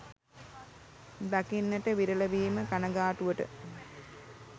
දකින්නට විරල වීම කනගාටුවට